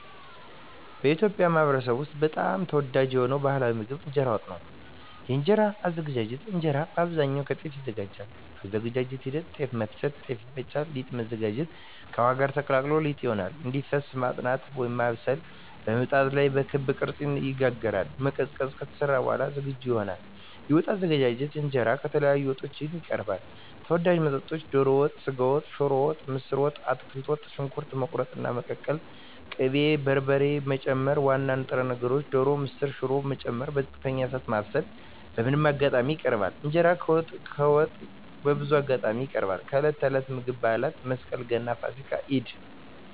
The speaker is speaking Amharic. በኢትዮጵያ ማኅበረሰብ ውስጥ በጣም ተወዳጅ የሆነው ባሕላዊ ምግብ እንጀራ በወጥ ነው። የእንጀራ አዘገጃጀት እንጀራ በአብዛኛው ከጤፍ ይዘጋጃል። የአዘገጃጀት ሂደት ጤፍ መፍጨት – ጤፍ ይፈጫል ሊጥ ማዘጋጀት – ከውሃ ጋር ተቀላቅሎ ሊጥ ይሆናል እንዲፈስ መጥናት (ማብሰል) – በምጣድ ላይ በክብ ቅርጽ ይጋገራል መቀዝቀዝ – ከተሰራ በኋላ ዝግጁ ይሆናል የወጥ አዘገጃጀት እንጀራ ከተለያዩ ወጦች ጋር ይቀርባል። ተወዳጅ ወጦች ዶሮ ወጥ ስጋ ወጥ ሽሮ ወጥ ምስር ወጥ አትክልት ወጥ . ሽንኩርት መቁረጥና መቀቀል ቅቤ እና በርበሬ መጨመር ዋና ንጥረ ነገር (ዶሮ፣ ምስር፣ ሽሮ…) መጨመር በዝቅተኛ እሳት ማብሰል በምን አጋጣሚዎች ይቀርባል? እንጀራ ከወጥ በብዙ አጋጣሚዎች ይቀርባል፦ የዕለት ተዕለት ምግብ የበዓላት (መስቀል፣ ገና፣ ፋሲካ፣ ኢድ)